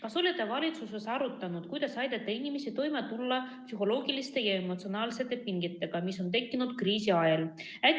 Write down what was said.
Kas te olete valitsuses arutanud, kuidas aidata inimestel toime tulla psühholoogiliste ja emotsionaalsete pingetega, mis on tekkinud kriisi ajal?